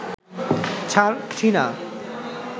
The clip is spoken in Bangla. ছারছীনা